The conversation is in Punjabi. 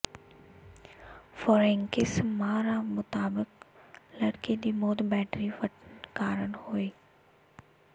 ਫ਼ੋਰੈਂਕਿਸ ਮਾਹਰਾਂ ਮੁਤਾਬਕ ਲੜਕੀ ਦੀ ਮੌਤ ਬੈਟਰੀ ਫਟਣ ਕਾਰਨ ਹੋਈ